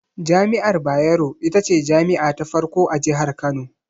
Jami'ar Bayero, ita ce jami'a ta farko a Jihar Kano.